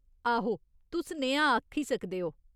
आहो, तुस नेहा आक्खी सकदे ओ।